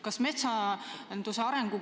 Te olete ka ise seda väitnud.